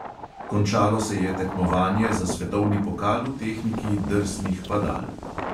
Končalo se je tekmovanje za svetovni pokal v tehniki drsnih padal.